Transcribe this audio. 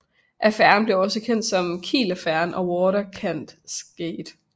Affæren blev også kendt som Kielaffæren og Waterkantgate